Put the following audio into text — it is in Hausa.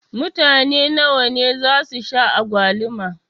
Mutane nawa ne zasu sha agwaluma?